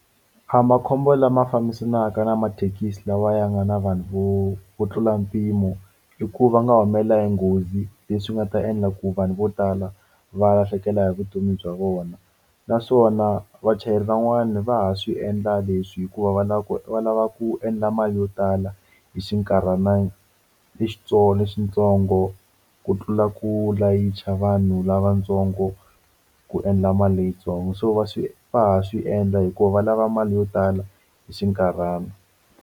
A makhombo lama fambisanaka na mathekisi lawa ya nga na vanhu vo vo tlula mpimo i ku va nga humelela hi nghozi leswi nga ta endla ku vanhu vo tala va lahlekela hi vutomi bya vona naswona vachayeri van'wani va ha swi endla leswi hikuva va lava ku va lava ku endla mali yo tala hi xinkarhana lexi lexitsongo ku tlula ku layicha vanhu lavatsongo ku endla mali leyitsongo so va swi va ha swi endla hikuva va lava mali yo tala hi xinkarhana.